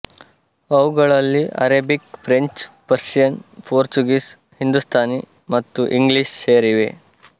ಅವುಗಳಲ್ಲಿ Arabic French Persian Portuguese Hindustani ಮತ್ತು ಇಂಗ್ಲಿಷ್ ಸೇರಿವೆ